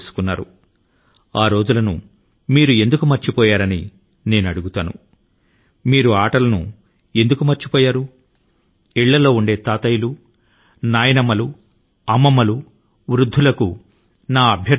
మీరు ఆ రోజుల ను ఆ ఆటల ను ఎందుకు మరచిపోయారు తాత అమ్మమ్మ ల వంటి కుటుంబ పెద్దల కు నాదొక అభ్యర్థన